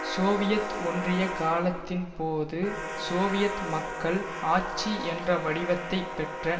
Soviet ஒன்றிய காலத்தின் போது சோவியத் மக்கள் ஆட்சி என்ற வடிவத்தை பெற்ற